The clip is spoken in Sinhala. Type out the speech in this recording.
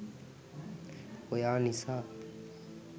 ඔයා නිසා